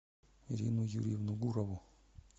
ирину юрьевну гурову